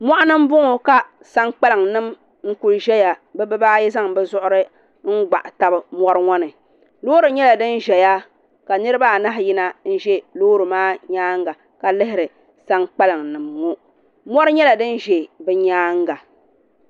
Mogini m bɔŋɔ kasankpaliŋ nim n kuli ʒɛya bɛ bi baa ayi zaŋ bɛ zuɣuri n gbaɣili tab mɔri ŋɔ ni Loori nyɛla din ʒɛya niribaa a nahi yina ʒɛya nlihiri sankpalŋ n